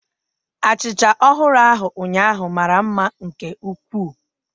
Achịcha ọhụrụ ahụ ụnyaahụ mara mma nke ukwuu